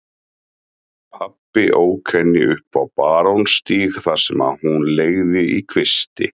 Pabbi ók henni upp á Barónsstíg þar sem hún leigði í kvisti.